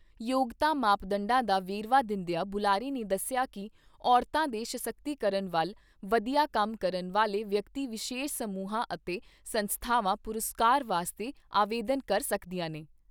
ਯੋਗਤਾ ਮਾਪਦੰਡਾਂ ਦਾ ਵੇਰਵਾ ਦਿੰਦਿਆਂ ਬੁਲਾਰੇ ਨੇ ਦੱਸਿਆ ਕਿ ਔਰਤਾਂ ਦੇ ਸਸ਼ਕਤੀਕਰਨ ਵੱਲ ਵਧੀਆ ਕੰਮ ਕਰਨ ਵਾਲੇ ਵਿਅਕਤੀ ਵਿਸ਼ੇਸ਼ ਸਮੂਹਾਂ ਅਤੇ ਸੰਸਥਾਵਾਂ, ਪੁਰਸਕਾਰ ਵਾਸਤੇ ਆਵੇਦਨ ਕਰ ਸਕਦੀਆਂ ਨੇ।